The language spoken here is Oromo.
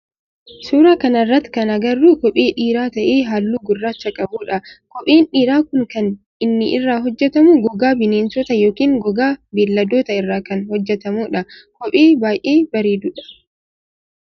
Suuraa kana irratti kan agarru kophee dhiiraa ta'ee halluu gurraacha qabudha. Kopheen dhiiraa kun kan inni irraa hojjetamu gogaa bineensotaa yookin gogaa beelladootaa irraa kan hojjetamudha. Kophee baayyee bareedu dha.